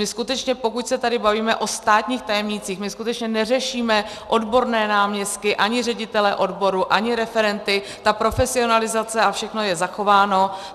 My skutečně, pokud se tady bavíme o státních tajemnících, my skutečně neřešíme odborné náměstky, ani ředitele odboru, ani referenty, ta profesionalizace a všechno je zachováno.